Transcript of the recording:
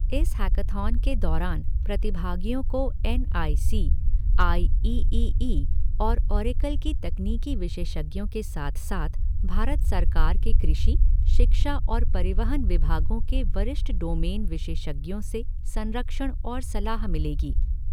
इस हैकाथॉन के दौरान प्रतिभागियों को N I C, I E E E और ओरेकल के तकनीकी विशेषज्ञों के साथ साथ भारत सरकार के कृषि, शिक्षा और परिवहन विभागों के वरिष्ठ डोमेन विशेषज्ञों से संरक्षण और सलाह मिलेगी।